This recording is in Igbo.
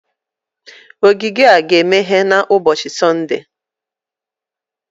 ogige a ga-emeghe n'ụbọchi Sọnde?